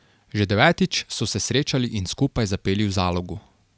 Že devetič so se srečali in skupaj zapeli v Zalogu.